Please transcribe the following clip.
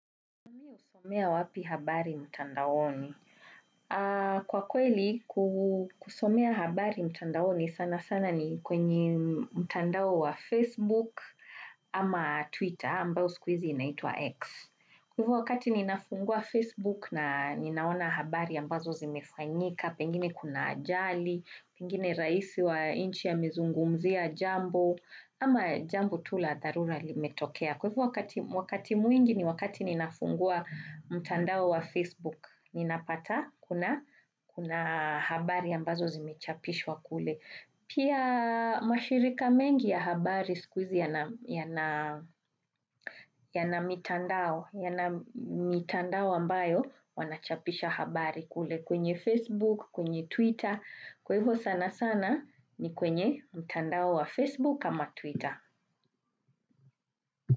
Kwa kweli, kusomea habari mtandaoni sana sana ni kwenye mtandao wa Facebook ama Twitter ambao siku hizi inaitwa X. Kwa hivyo wakati ninafungua Facebook na ninaona habari ambazo zimefanyika, pengine kuna ajali, pengine rais wa nchi amezungumzia, jambo, ama jambo tu la dharura limetokea. Kwa hivyo wakati mwingi ni wakati ninafungua mtandao wa Facebook, fninapata kuna habari ambazo zimechapishwa kule. Pia mashirika mengi ya habari siku hizi yana mitandao, yana mitandao ambayo wanachapisha habari kule kwenye Facebook, kwenye Twitter. Kwa hivyo sana sana ni kwenye mtandao wa Facebook ama Twitter.